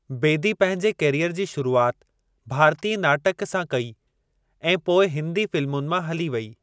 बेदी पंहिंजे करियर जी शुरुआत भारतीय नाटकु सां कई ऐं पोइ हिंदी फ़िल्मुनि मां हली वई।